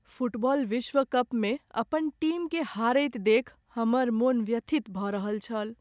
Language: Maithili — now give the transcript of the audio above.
फुटबॉल विश्व कपमे अपन टीमकेँ हारैत देखि हमर मोन व्यथित भऽ रहल छल।